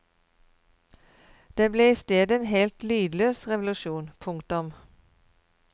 Det ble istedet en helt lydløs revolusjon. punktum